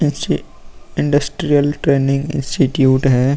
ऐसे industrial training institute है।